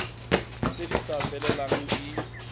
tse di sa felelang di